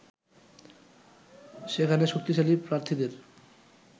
সেখানে শক্তিশালী প্রার্থীদের